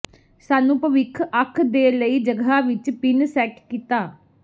ਸਾਨੂੰ ਭਵਿੱਖ ਅੱਖ ਦੇ ਲਈ ਜਗ੍ਹਾ ਵਿੱਚ ਪਿੰਨ ਸੈੱਟ ਕੀਤਾ